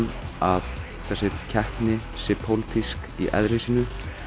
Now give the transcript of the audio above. að þessi keppni sé pólitísk í eðli sínu